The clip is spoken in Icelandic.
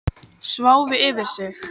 Sváfu yfir sig